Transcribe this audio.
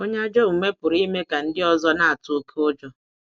Onye ajọ omume pụrụ ime ka ndị ọzọ na-atụ oké ụjọ.